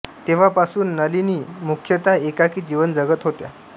तेव्हा पासून नलिनी मुख्यतः एकाकी जीवन जगत होत्या